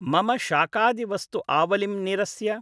मम शाकादिवस्तु आवलिं निरस्य